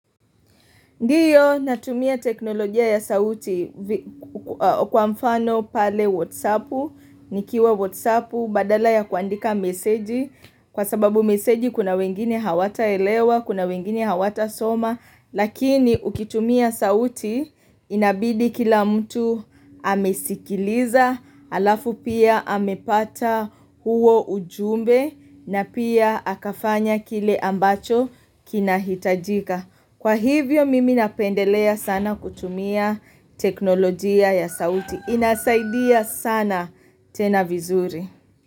Ndiyo natumia teknolojia ya sauti kwa mfano pale whatsapp, nikiwa whatsapp badala ya kuandika meseji, kwa sababu meseji kuna wengine hawata elewa, kuna wengine hawata soma, lakini ukitumia sauti inabidi kila mtu amesikiliza, halafu pia amepata huo ujumbe na pia akafanya kile ambacho kinahitajika. Kwa hivyo mimi napendelea sana kutumia teknolojia ya sauti. Inasaidia sana tena vizuri.